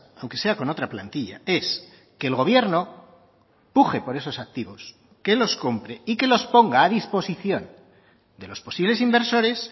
aunque sea con otra plantilla es que el gobierno puje por esos activos que los compre y que los ponga a disposición de los posibles inversores